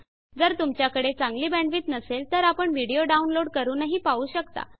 जर तुमच्याकडे चांगली बॅंडविड्त नसेल तर आपण व्हिडिओ डाउनलोड करूनही पाहू शकता